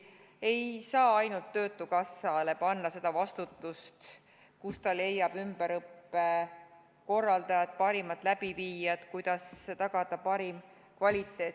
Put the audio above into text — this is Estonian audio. Ei saa ainult töötukassale panna seda vastutust, kust ta leiab ümberõppe korraldajad, parimad läbiviijad, kuidas tagab parima kvaliteedi.